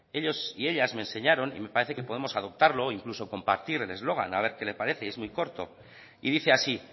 ellos y ellas me enseñaron y me parece que podemos adoptarlo e incluso compartir el eslogan a ver qué le parece es muy corto y dice así